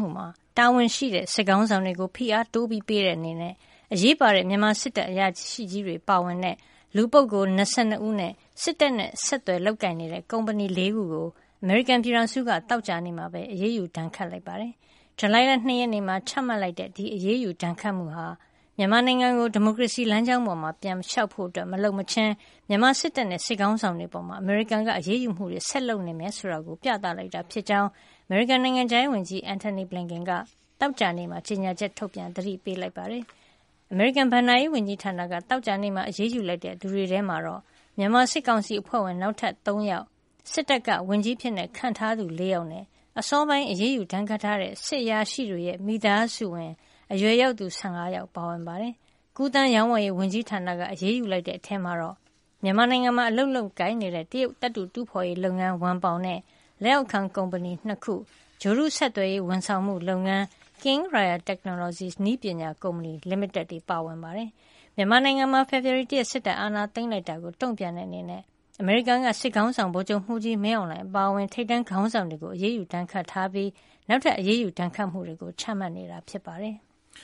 ှုမှာ တာဝန်ရှိတဲ့ စစ်ခေါင်းဆောင်တွေကို ဖိအားတိုးပေးတဲ့ အနေနဲ့ အရေးပါတဲ့ မြန်မာစစ်အရာရှိကြီးတွေပါဝင်တဲ့ လူပုဂ္ဂိုလ် ၂၂ ဦး နဲ့ စစ်တပ်နဲ့ဆက်သွယ်လုပ်ကိုင်နေတဲ့ ကုမ္ပဏီ ၄ ခုကို အမေရိကန်ပြည်ထောင်စုက သောကြာနေ့မှာ အရေးယူဒဏ်ခတ်မှု လိုက်ပါတယ်။ ဇူလိုင်လ ၂ ရက်နေ့မှာ ချမှတ်လိုက်တဲ့ အရေးယူဒဏ်ခတ်မှုဟာ မြန်မာနိုင်ငံကို ဒီမိုကရေစီလမ်းကြောင်းပေါ် ပြန်လျှောက်ဖို့ မလုပ်မချင်း မြန်မာစစ်တပ်နဲ့ စစ်ခေါင်းဆောင်တွေ အပေါ် အမေရိကန်က အရေးယူမှုတွေ ဆက်လုပ်နေမယ်ဆိုတာကို ပြသလိုက်တာ ဖြစ်ကြောင်း အမေရိကန်နိုင်ငံခြားရေးဝန်ကြီး Antony Blinken က သောကြာနေ့မှာ ကြေညာချက် ထုတ်ပြန် သတိပေးလိုက်ပါတယ်။ အမေရိကန် ဘဏ္ဍာရေးဝန်ကြီးဌာနက သောကြာနေ့မှာ အရေးယူလိုက်တဲ့ သူတွေထဲမှာတော့ မြန်မာစစ်ကောင်စီအဖွဲ့ဝင် နောက်ထပ် ၃ ယောက်၊ စစ်တပ်က ဝန်ကြီးအဖြစ် ခန့်အပ်ထားသူ ၄ ယောက်နဲ့ အစောပိုင်း အရေးယူဒဏ်ခတ်ထားတဲ့ စစ်အရာရှိတွေရဲ့ မိသားစုဝင် အရွယ်ယောက်သူ ၁၅ ယောက် ပါဝင်ပါတယ်။ ကူးသန်းရောင်းဝယ်ရေး ဝန်ကြီးဌာနက အရေးယူလိုက်တဲ့ အထဲမှာတော့ မြန်မာနိုင်ငံမှာ အလုပ်လုပ်ကိုင်နေတဲ့ တရုတ်သတ္ထုတူးဖော်ရေးလုပ်ငန်း ဝမ်ပေါင်နဲ့ လက်အောက်ခံ ကုမ္ပဏီ ၂ ခု၊ ဂြိုဟ်တု ဆက်သွယ်ရေး ဝန်ဆောင်မှုလုပ်ငန်း King Royal Technologies နည်းပညာ ကုမ္ပဏီ လိမိတက်တို့ ပါဝင်ပါတယ်။ မြန်မာနိုင်ငံမှာ ဖေဖော်ဝါရီလ ၁ ရက်နေ့ စစ်တပ်ကအာဏာသိမ်းလိုက်တာကို တုံ့ပြန်တဲ့အနေနဲ့ အမေရိကန်က စစ်ခေါင်းဆောင် ဗိုလ်ချုပ်မှူးကြီး မင်းအောင်လှိုင် အပါအဝင် ထိပ်တန်းခေါင်းဆောင်တွေကို ဒဏ်ခတ်အရေးယူထားပြီး၊ နောက်ထပ် အရေးယူဒဏ်ခတ်မှုတွေကို ချမှတ်နေတာ ဖြစ်ပါတယ်။